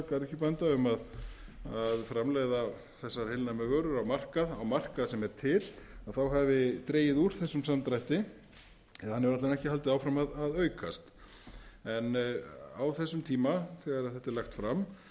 garðyrkjubænda um að framleiða þessar heilnæmu vörur á markað á markað sem er til þá hafi dregið úr þessum samdrætti eða hann hefur alla vega ekki haldið áfram að aukast en á þessum tíma þegar þetta var